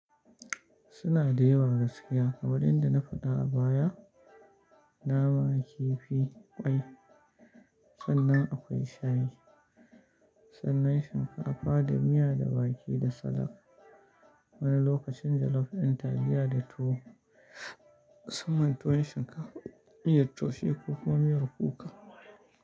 Suna da yawa gaskiya. Wadanda na faɗa a baya, nama, kifi, ƙwai sannan akwai shayi, sannan shinkafa da miya da wake da salad. Wani lokacin jallof ɗin taliya da tuwo, sannan tuwon shinkafa, miyar taushe ko kuma miyar kuka.